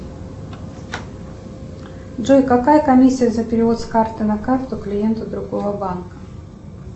джой какая комиссия за перевод с карты на карту клиенту другого банка